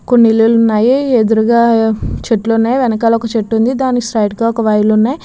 కొన్ని ఇల్లులు ఉన్నాయి ఎదురుగా చెట్లు ఉన్నాయి. వెనకాల ఒక చెట్టు ఉంది దానికి స్ట్రెయిట్ గా ఒక వైర్లు ఉన్నాయి.